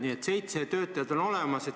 Nii et nüüd on seitse töötajat.